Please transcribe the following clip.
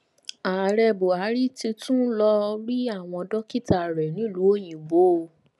ààrẹ buhari ti tún ń lọọ rí àwọn dókítà rẹ nílùú òyìnbó o